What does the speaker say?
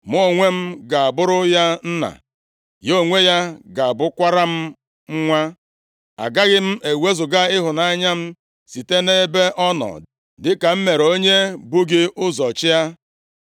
Mụ onwe m ga-abụrụ ya nna, ya onwe ya ga-abụkwara m nwa. Agaghị m ewezuga ịhụnanya m site nʼebe ọ nọ, dịka m mere onye bu gị ụzọ chịa.